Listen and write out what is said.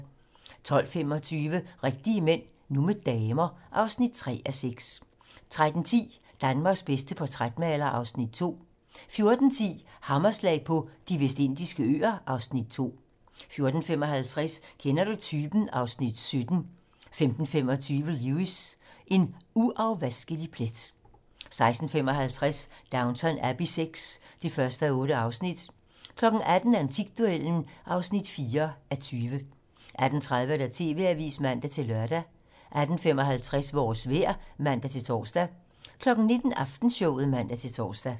12:25: Rigtige mænd - nu med damer (3:6) 13:10: Danmarks bedste portrætmaler (Afs. 2) 14:10: Hammerslag på De Vestindiske Øer (Afs. 2) 14:55: Kender du typen? (Afs. 17) 15:25: Lewis: En uafvaskelig plet 16:55: Downton Abbey VI (1:8) 18:00: Antikduellen (4:20) 18:30: TV-Avisen (man-lør) 18:55: Vores vejr (man-tor) 19:00: Aftenshowet (man-tor)